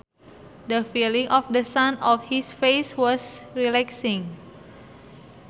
The feeling of the sun on his face was relaxing